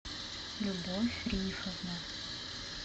любовь рифовна